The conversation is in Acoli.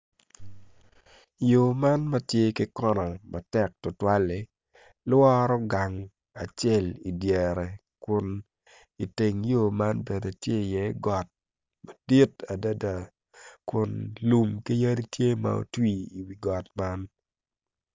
Yo man matye ki kona matek tutwali lworo gang acel idyere kun iteng yo man bene tye i iye got madit adada kun lum ki yadi tye ma otwi iwi got man